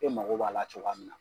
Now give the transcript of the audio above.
E mago b'a la cogoya min na